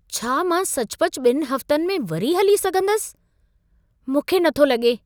छा मां सचुपचु ॿिन हफ्तनि में वरी हली सघंदसि? मूंखे न थो लॻे।